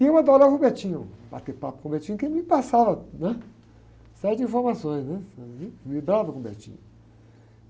E eu adorava o, bater papo com o, porque ele me passava, né? Uma série de informações, né? eu vibrava com o.